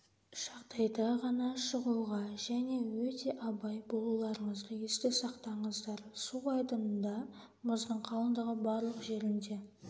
жағдайда ғана шығуға және өте абай болуларыңызды есте сақтаңыздар су айдынында мұздың қалындығы барлық жерінде